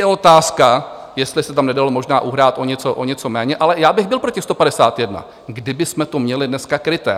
Je otázka, jestli se tam nedalo možná uhrát o něco méně, ale já bych byl pro těch 151, kdybychom to měli dneska kryté.